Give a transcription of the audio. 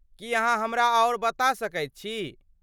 कि अहाँ हमरा आओर बता सकैत छी?